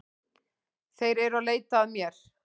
Þeir eru að leita að mér